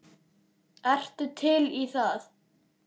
Ertu til í það?